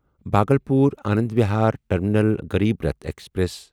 Bhagalpur Anand Vihar terminal Garib Rath express